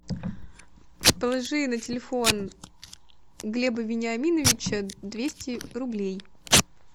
положи на телефон глеба вениаминовича двести рублей